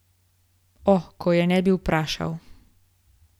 O, ko bi je ne vprašal!